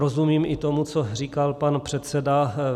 Rozumím i tomu, co říkal pan předseda.